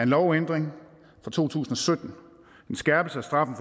lovændring fra to tusind og sytten en skærpelse af straffen